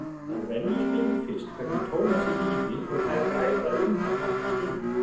Að venju spyr hún fyrst hvernig Tómasi líði og þær ræða um hann nokkra stund.